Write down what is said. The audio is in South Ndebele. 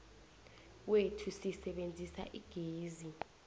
kwethu sisebenzisa igezi